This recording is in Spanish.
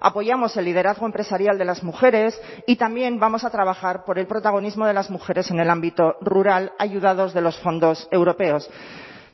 apoyamos el liderazgo empresarial de las mujeres y también vamos a trabajar por el protagonismo de las mujeres en el ámbito rural ayudados de los fondos europeos